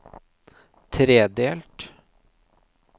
tredelt